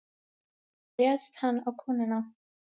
Þá réðst hann á konuna.